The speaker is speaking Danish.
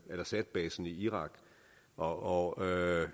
asad basen i irak og